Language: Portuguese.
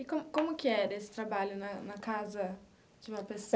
E como como que era esse trabalho na na casa de uma pessoa?